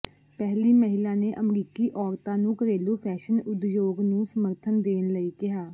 ਪਹਿਲੀ ਮਹਿਲਾ ਨੇ ਅਮਰੀਕੀ ਔਰਤਾਂ ਨੂੰ ਘਰੇਲੂ ਫੈਸ਼ਨ ਉਦਯੋਗ ਨੂੰ ਸਮਰਥਨ ਦੇਣ ਲਈ ਕਿਹਾ